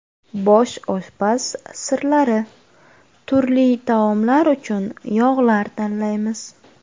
Bosh oshpaz sirlari: turli taomlar uchun yog‘lar tanlaymiz.